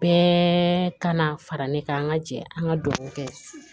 Bɛɛ ka na fara ne kan an ka jɛ an ka dugawu kɛ